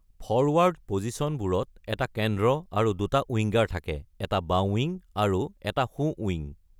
Forward পজিচনবোৰত এটা কেন্দ্ৰ আৰু দুটা উইংগাৰ থাকে: এটা বাওঁ-উইং আৰু এটা সোঁ-উইং।